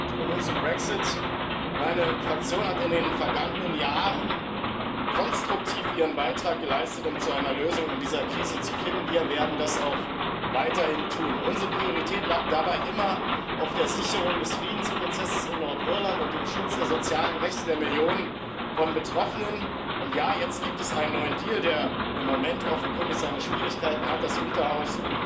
Und nun zum Brexit Meine Fraktion hat in den vergangenen Jahren konstruktiv ihren Beitrag geleistet, um zu einer Lösung in dieser Krise zu finden. Wir werden das auch weiterhin tun. Unsere Priorität lag dabei immer auf der Sicherung des Friedensprozesses in Nordirland und dem Schutz der sozialen Rechte der Millionen von Betroffenen, und ja, jetzt gibt es einen neuen Deal, der im Moment offenkundig seine Schwierigkeiten hat, das Unterhaus